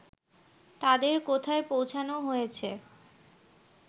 তাদের কোথায় পৌঁছোনো হয়েছে